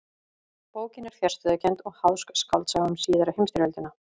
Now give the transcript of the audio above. Bókin er fjarstæðukennd og háðsk skáldsaga um síðari heimstyrjöldina.